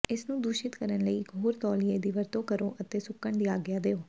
ਇਸਨੂੰ ਦੂਸ਼ਿਤ ਕਰਨ ਲਈ ਇਕ ਹੋਰ ਤੌਲੀਏ ਦੀ ਵਰਤੋਂ ਕਰੋ ਅਤੇ ਸੁੱਕਣ ਦੀ ਆਗਿਆ ਦਿਓ